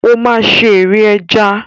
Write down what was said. Ó máa ṣe ère ẹja.